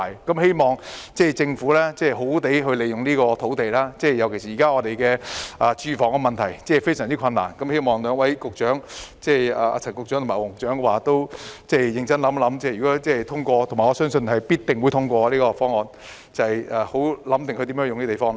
我希望政府好好善用這幅用地，特別是香港現時的住屋問題非常嚴重，我希望兩位局長——即陳局長和黃局長認真想想，如果議案通過——我相信這項議案必定會通過——應怎樣使用這幅用地。